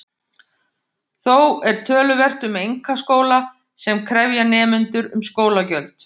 Þó er töluvert um einkaskóla sem krefja nemendur um skólagjöld.